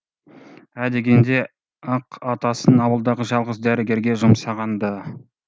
ә дегенде ақ атасын ауылдағы жалғыз дәрігерге жұмсаған ды